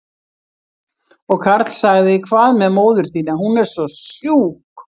Og Karl sagði, hvað með móður þína, hún er svo sjúk?